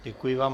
Děkuji vám.